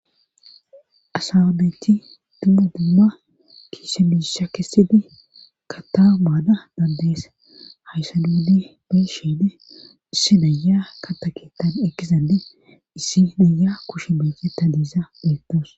Asaabeyti dumu dumma kiise biisha kessidi ka taa maada dandees haysanuuli besheede issi naya ka taketan ekizade issi naya kushe meyti ta diisa beettos.